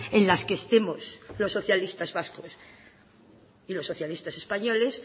en las que estemos los socialistas vascos y los socialistas españoles